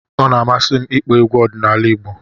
Ọ na-amasị m ịkpọ egwu ọdịnala Igbo